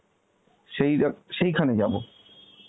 সেই অ্যাঁ সেইখানে যাব?